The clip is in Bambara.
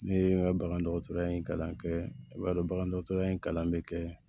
Ne ye n ka bagan dɔgɔtɔrɔya in kalan kɛ o b'a dɔn bagan dɔgɔtɔrɔya in kalan bɛ kɛ